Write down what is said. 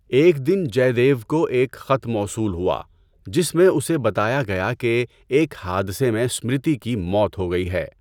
ایک دن جے دیو کو ایک خط موصول ہوا جس میں اسے بتایا گیا کہ ایک حادثے میں اسمرتی کی موت ہو گئی ہے۔